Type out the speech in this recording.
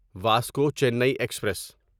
Vasco Chennai express